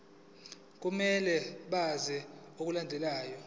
kumele benze okulandelayo